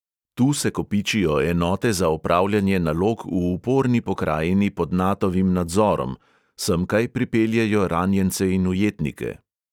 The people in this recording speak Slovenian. Tu se kopičijo enote za opravljanje nalog v uporni pokrajini pod natovim nadzorom, semkaj pripeljejo ranjence in ujetnike.